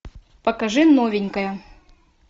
покажи новенькая